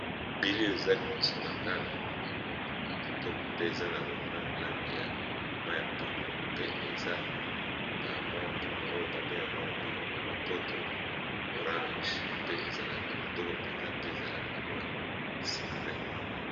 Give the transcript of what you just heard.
Elili eza liboso na nga namomi ba mwa mbuma kitoko pe eza na mwa langi ya mayi ya pundu pe eza ba mwa mbuma oyo babengango na monoko ya lopoto orange pe ezalaka kitoko mpenza pe ezalaka mwa sucre.